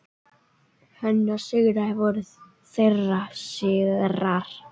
Hennar sigrar voru þeirra sigrar.